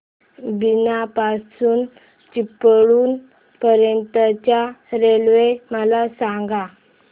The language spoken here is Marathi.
बीना पासून चिपळूण पर्यंत च्या रेल्वे मला सांगा